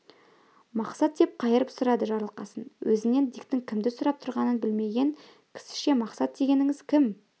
мақсат деп қайырып сұрады жарылқасын өзінен диктің кімді сұрап тұрғанын білмеген кісіше мақсат дегеніңіз кім